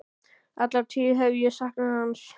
Alla tíð hef ég saknað hans.